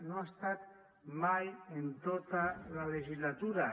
no hi ha estat mai en tota la legislatura